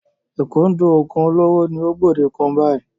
Ìkúndù oògùn olóró ni ó gbòde kàn báyìí.